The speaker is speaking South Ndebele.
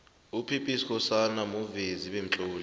up b skhosana muvezi bemtloli